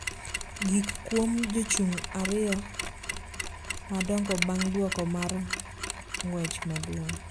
gik kuom jochung’ ariyo madongo bang’ duoko mar ng’wech maduong’